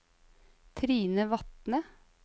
Trine Vatne